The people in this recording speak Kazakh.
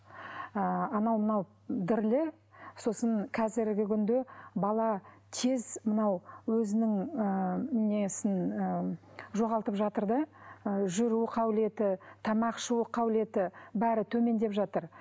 ыыы анау мынау дірілі сосын қазіргі күнде бала тез мынау өзінің ыыы несін ыыы жоғалтып жатыр да ы жүру қабілеті тамақ ішу қабілеті бәрі төмендеп жатыр